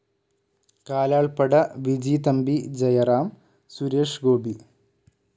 Kalalppada Vijithampi Jayaram, Suresh Gopi